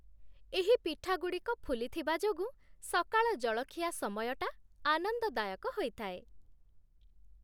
ଏହି ପିଠାଗୁଡ଼ିକ ଫୁଲିଥିବା ଯୋଗୁଁ ସକାଳ ଜଳଖିଆ ସମୟଟା ଆନନ୍ଦଦାୟକ ହୋଇଥାଏ।